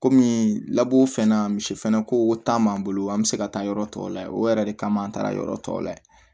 Kɔmi laburu fɛn na misi fɛnɛ ko ta m'an bolo an be se ka taa yɔrɔ tɔw lajɛ o yɛrɛ de kama an taara yɔrɔ tɔw layɛ